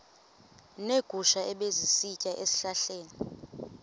neegusha ebezisitya ezihlahleni